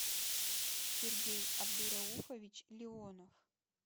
сергей абдурауфович леонов